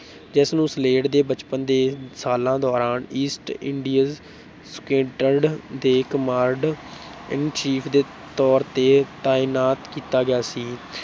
ਜਿਸ ਨੂੰ ਸਲੇਡ ਦੇ ਬਚਪਨ ਦੇ ਸਾਲਾਂ ਦੌਰਾਨ east ਸੁਕੈਡਰਡ ਦੇ command in chief ਦੇ ਤੌਰ ਤੇ ਤਾਇਨਾਤ ਕੀਤਾ ਗਿਆ ਸੀ।